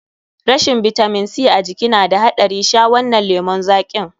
Rashin bitamin C a jiki na da haɗari, sha wannan lemun zaƙin.